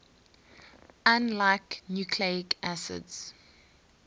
unlike nucleic acids